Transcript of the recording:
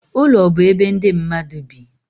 Ụlọ bụ ebe ndị mmadụ bi.